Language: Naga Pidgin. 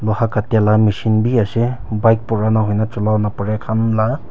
kati lah mishin bhi ase bike purana hoina jama khan lah--